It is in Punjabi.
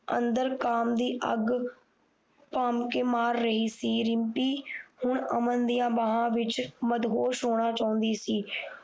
ਅੰਦਰ ਕਾਮਦੀ ਅੱਗ ਕ ਮਾਰ ਰਹੀ ਸੀ ਰਿਮਪੀ ਹੁਣ ਅਮਨ ਦੀਆਂ ਬਾਹਾਂ ਵਿੱਚ ਮਦਹੋਸ਼ ਹੋਣਾ ਚਾਹੁੰਦੀ ਸੀ